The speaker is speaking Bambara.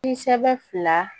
I sɛbɛn fila